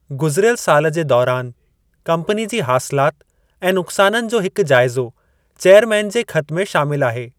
गुज़िरियल साल जे दौरान कम्पनी जी हासिलात ऐं नुक़्साननि जो हिकु जाइज़ो चेअरमैन जे ख़त में शामिल आहे।